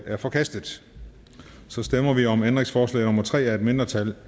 er forkastet så stemmer vi om ændringsforslag nummer tre af et mindretal